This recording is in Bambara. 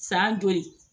San joli